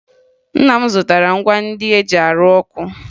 Nna m zụtara ngwa ndị e ji arụ ọkụ